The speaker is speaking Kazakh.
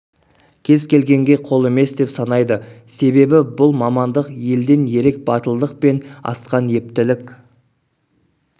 кез келгенге қол емес деп санайды себебі бұл мамандық елден ерек батылдық пен асқан ептілік